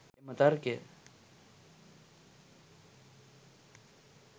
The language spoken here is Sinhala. එම තර්කය